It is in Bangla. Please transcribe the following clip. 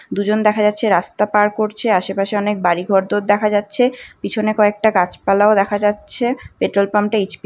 দুজন দেখা যাচ্ছে রাস্তা পার করছে। আশে পাশে অনেক বাড়ি ঘর দোর দেখা যাচ্ছে পিছনে কয়েকটা গাছ পালাও দেখা যাচ্ছে পেট্রোল পাম্প -টা এইচ.পি. ।